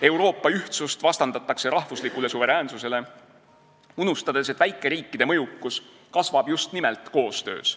Euroopa ühtsust vastandatakse rahvuslikule suveräänsusele, unustades, et väikeriikide mõjukus kasvab just nimelt koostöös.